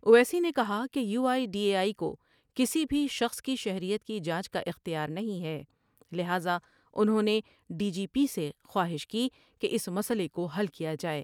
اویسی نے کہا کہ U I D A I کو کسی بھی شخص کی شہریت کی جانچ کا اختیار نہیں ہے لہذا انہوں نے ڈی جی پی سے خواہش کی کہ اس مسئلہ کو حل کیا جائے ۔